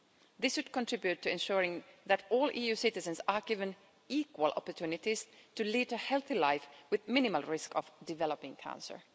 This would contribute to ensuring that all EU citizens are given equal opportunities to lead a healthy life with minimal risk of developing cancer.